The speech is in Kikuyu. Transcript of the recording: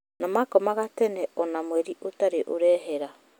Na makomaga tene ona mweri utarĩ ũrehera